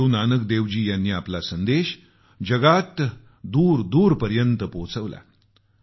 श्री गुरूनानक देवजी यांनी आपला संदेश जगात दूर दूरवर पोहचवला